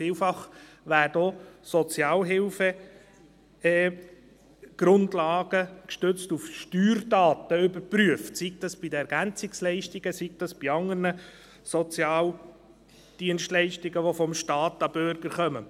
Vielfach werden auch Sozialhilfegrundlagen gestützt auf die Steuerdaten überprüft, sei dies bei den Ergänzungsleistungen, oder sei es bei anderen Sozialdienstleistungen, die vom Staat zum Bürger gehen.